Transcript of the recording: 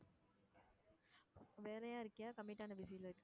வேலையா இருக்கியா commit ஆன busy ல இருக்கியா?